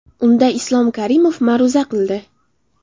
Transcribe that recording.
Unda Islom Karimov ma’ruza qildi.